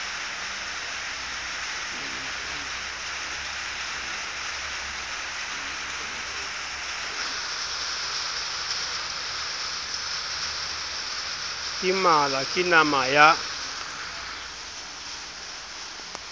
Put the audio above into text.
ke mala ke nama ya